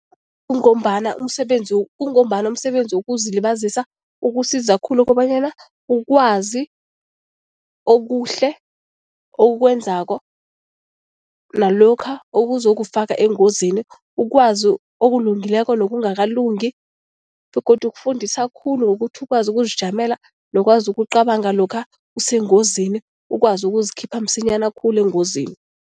Kungombana umsebenzi kungombana umsebenzi wokuzilibazisa ukusiza khulu ukobanyana ukwazi okuhle okwenzako nalokha okuzokufaka engozini, ukwazi okulungileko nokungakalungi begodu ukufundisa khulu ngokuthi ukwazi ukuzijamela nokwazi ukucabanga lokha usengozini, ukwazi ukuzikhipha msinyana khulu engozini.